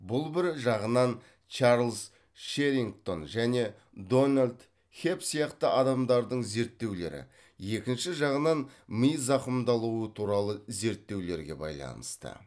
бұл бір жағынан чарльз шеррингтон және дональд хебб сияқты адамдардың зерттеулері екінші жағынан ми зақымдалуы туралы зерттеулерге байланысты